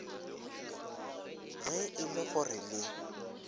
ge e le gore le